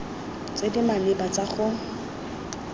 tse di maleba tsa go